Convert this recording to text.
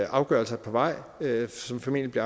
afgørelser på vej som formentlig